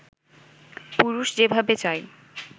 পুরুষ যেভাবে চায়